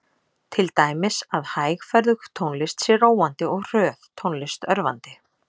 Til dæmis að hægferðug tónlist sé róandi og hröð tónlist örvandi.